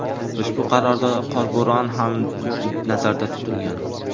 Ushbu qarorda qorbo‘ron ham nazarda tutilgan.